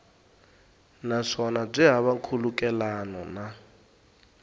naswona byi hava nkhulukelano na